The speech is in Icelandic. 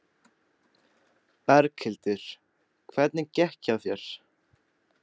Berghildur: Hvernig gekk hjá þér?